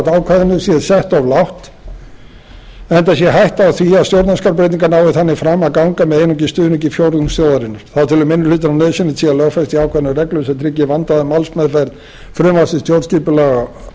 ákvæðinu sé sett of lágt enda sé hætta á að stjórnarskrárbreytingar nái þannig fram að ganga með einungis stuðningi fjórðungs þjóðarinnar þá telur minni hlutinn að nauðsynlegt sé að lögfesta í ákvæðinu reglur sem tryggi vandaða málsmeðferð frumvarps til stjórnskipunarlaga á